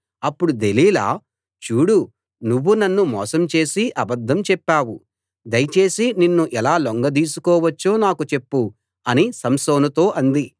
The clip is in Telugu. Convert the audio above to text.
అప్పుడు దెలీలా చూడు నువ్వు నన్ను మోసం చేసి అబద్ధం చెప్పావు దయచేసి నిన్ను ఎలా లొంగదీసుకోవచ్చో నాకు చెప్పు అని సంసోనుతో అంది